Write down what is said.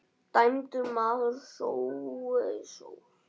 Dæmdur maður sá ei sól.